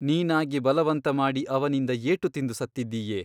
ನೀನಾಗಿ ಬಲವಂತ ಮಾಡಿ ಅವನಿಂದ ಏಟು ತಿಂದು ಸತ್ತಿದ್ದೀಯೆ.